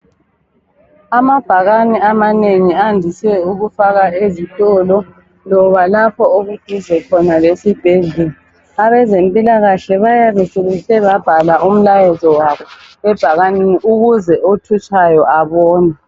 Amabhakani amanengi andise ukufakwa ezitolo, loba lapho okuduze khona lesibhedlela. Abezempilakahle bayabe sebehle babhala umlayezo wabo ebhakaneni ukuze othutshayo abone.